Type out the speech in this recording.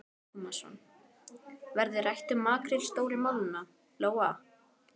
Telma Tómasson: Verður rætt um makríl Stóru málunum, Lóa?